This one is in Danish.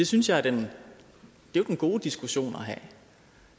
synes jeg er en god diskussion